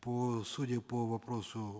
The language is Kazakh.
по судя по вопросу